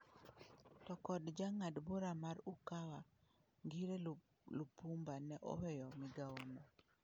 To kod jang'ad bura mar Ukawa ngire Lipumba ne oweyo migawono.